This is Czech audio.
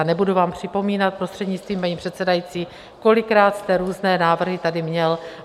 A nebudu vám připomínat, prostřednictvím paní předsedající, kolikrát jste různé návrhy tady měl.